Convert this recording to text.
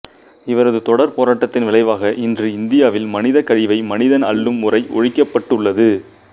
இவரது தொடர் போராட்டத்தின் விளைவாக இன்று இந்தியாவில் மனிதக் கழிவை மனிதன் அள்ளும் முறை ஒழிக்கப்பட்டுள்ளது